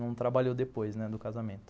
Não trabalhou depois né, do casamento.